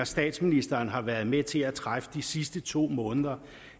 statsministeren har været med til at træffe de sidste to måneder